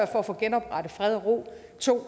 for at få genoprettet fred og ro og 2